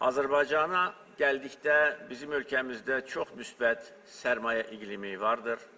Azərbaycana gəldikdə bizim ölkəmizdə çox müsbət sərmayə iqlimi vardır.